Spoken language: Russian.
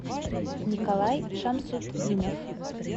николай шамсутдинов